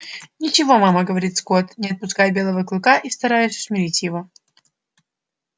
ничего мама говорил скотт не отпуская белого клыка и стараясь усмирить его